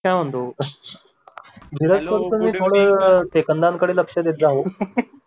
मी काय म्हणतो धीरज सर तुम्ही थोडं सेकंदांकडे लक्ष देत जा हो